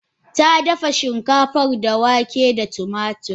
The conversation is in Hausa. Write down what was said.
Tadafa shinkafan da wake da tumatir.